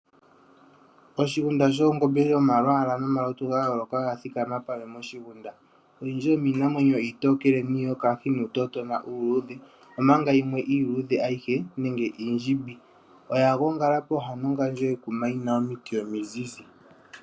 Oshigunda shoongombe dhomalwaala nomalutu ga yooloka odha thikama moshigunda. Oyindji yomiinamwenyo iitookele, iiyokahi nuutotona uuluudhe, omanga yimwe iiluudhe ayihe nenge iindjimbi. Oya gongala pooha nongandjo yekuma yi na omiti omile omizizi.